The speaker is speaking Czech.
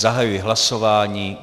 Zahajuji hlasování.